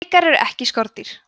drekar eru ekki skordýr